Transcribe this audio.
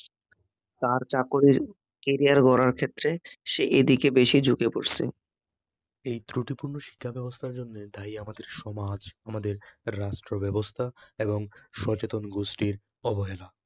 তার চাকুরীর ক্যারিয়ার গড়ার ক্ষেত্রে সে এদিকে বেশি ঝুঁকে পড়ছে এই ত্রুটিপূর্ণ শিক্ষাব্যবস্থার জন্য দায়ী আমাদের সমাজ, আমাদের রাষ্ট্রব্যবস্থা এবং সচেতন গোষ্ঠীর অবহেলা